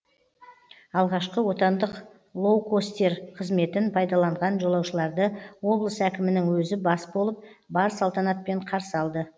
алғашқы отандық лоукостер қызметін пайдаланған жолаушыларды облыс әкімінің өзі бас болып бар салтанатпен қарсы алды